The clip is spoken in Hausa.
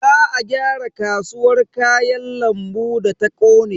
Za a gyara kasuwar Kayan lambu da ta kone.